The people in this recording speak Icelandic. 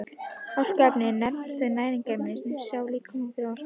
Orkuefni eru nefnd þau næringarefni sem sjá líkamanum fyrir orku.